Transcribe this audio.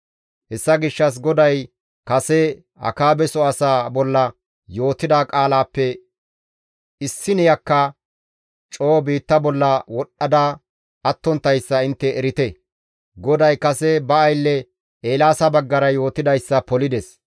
Hessa gishshas GODAY kase Akaabeso asaa bolla yootida qaalaappe issineyakka coo biitta bolla wodhdha attonttayssa intte erite. GODAY kase ba aylle Eelaasa baggara yootidayssa polides.